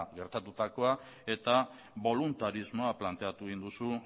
gertatutakoa eta boluntarismoa planteatu egin duzu